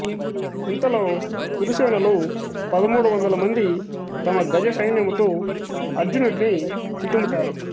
ఇంతలో కురుసేనలు పదమూడు వందల మంది తమ గజ సైన్యముతో అర్జునుడి చుట్టుముట్టారు